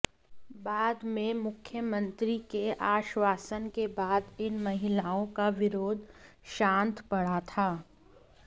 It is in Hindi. बाद में मुख्यमंत्री के आश्वासन के बाद इन महिलाओं का विरोध शांत पड़ा था